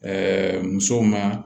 musow ma